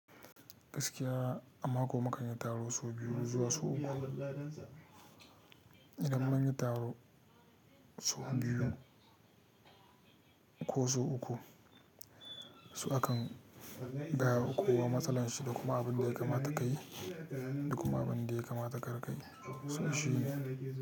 Gaskiya a mako mu kan yi taro sau biyu zuwa sau uku. Idan mun yi taro sau biyu ko sau uku so akan gaya wa kowa matsalan shi da kuma abin da ya kamata ka yi da kuma abin da ya kamata kar kayi. So shi ne.